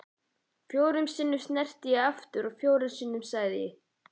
Fjórum sinnum sneri ég aftur og fjórum sinnum sagði